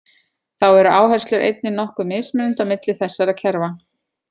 Þá eru áherslur einnig nokkuð mismunandi á milli þessara kerfa.